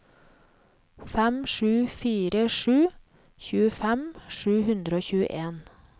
fem sju fire sju tjuefem sju hundre og tjueen